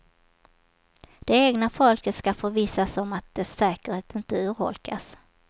Det egna folket ska förvissas om att dess säkerhet inte urholkas.